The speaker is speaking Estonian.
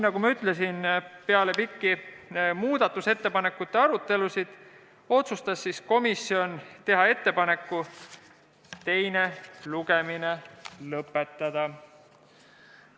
Nagu ma ütlesin, otsustas komisjon peale pikki muudatusettepanekute arutelusid teha ettepaneku teine lugemine lõpetada.